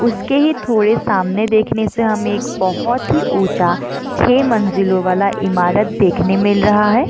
उसके ही थोड़े सामने देखने से हमे एक बहुत ही ऊंचा छे मंजिलों वाला ईमारत देखने मिल रहा हैं।